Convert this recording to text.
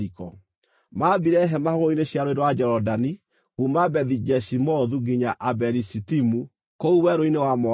Maambire hema hũgũrũrũ-inĩ cia Rũũĩ rwa Jorodani kuuma Bethi-Jeshimothu nginya Abeli-Shitimu, kũu werũ-inĩ wa Moabi.